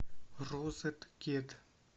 розеткед